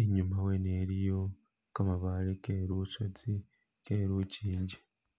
inyuma wene iliyo kamabaale ke lusozi, ke lukingi.